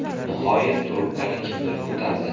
Nihoyat trubkani kimdir ko‘tardi.